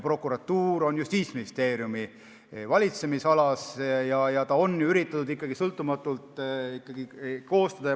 Prokuratuur on Justiitsministeeriumi valitsemisalas ja teda on üritatud ikkagi sõltumatult kokku panna.